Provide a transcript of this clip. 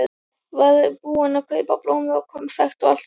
Var búinn að kaupa blómin og konfektið og allt.